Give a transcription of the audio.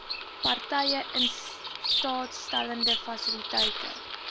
partye instaatstellende fasiliteite